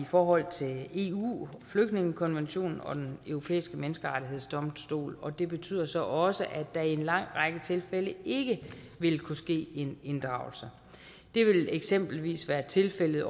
forhold til eu flygtningekonventionen og den europæiske menneskerettighedsdomstol og det betyder så også at der i en lang række tilfælde ikke vil kunne ske en inddragelse det vil eksempelvis være tilfældet